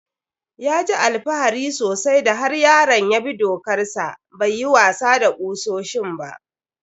Ya ji alfahari sosai da har yaron ya bi dokar sa bai yi wasa da kusoshin ba.